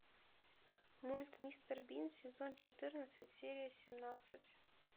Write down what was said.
мульт мистер бин сезон четырнадцать серия семнадцать